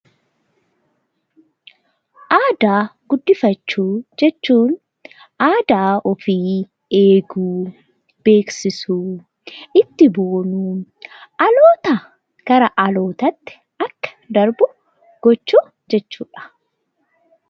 Aadaa ofii guddifachuu jechuun aadaa ofii beekuu, itti boonuu fi dhalootaa gara dhaloottaatti akka darbuu gochuu jechuudha.